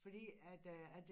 Fordi at det at